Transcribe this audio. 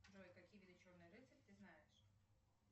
джой какие виды черный рыцарь ты знаешь